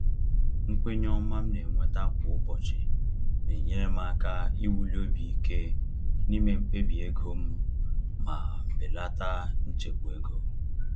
Nkwenye ọma m na-enweta kwa ụbọchị na-enyere m aka iwuli obi ike n’ime mkpebi ego m ma belata nchegbu ego.